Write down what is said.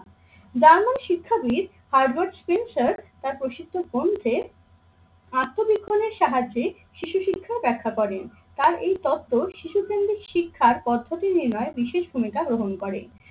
যার মন শিক্ষাবিদ তার প্রসিদ্ধ কমতে আত্মবিক্ষণের সাহায্যে শিশু শিক্ষাও ব্যাখ্যা করেন। তার এই তত্ত্ব শিশু কেন্দ্রিক শিক্ষার পদ্ধতি নির্ণয় বিশেষ ভূমিকা গ্রহণ করে।